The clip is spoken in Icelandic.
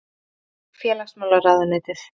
Reykjavík: Félagsmálaráðuneytið.